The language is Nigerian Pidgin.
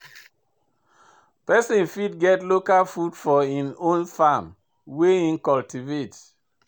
Pesin fit get local food for im own farm wey him cultivate.